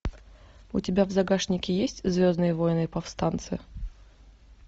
у тебя в загашнике есть звездные войны повстанцы